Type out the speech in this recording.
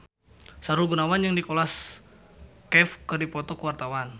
Sahrul Gunawan jeung Nicholas Cafe keur dipoto ku wartawan